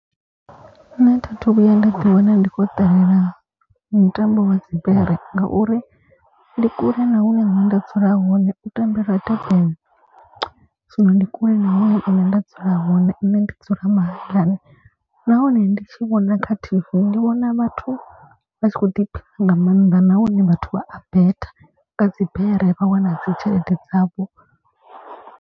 Nṋe thi thu vhuya nda ḓi wana ndi khou ṱalela mutambo wa dzibere. Ngauri ndi kule na hune nṋe nda dzula hone u tambelwa Durban. Zwino ndi kule na hune nṋe nda dzula hone hone. Nṋe ndi dzula mahayani nahone ndi tshi vhona kha T_V ndi vhona vhathu vha tshi kho ḓiphina nga maanḓa. Nahone vhathu vha a bet nga dzibere vha wana dzi tshelede dzavho.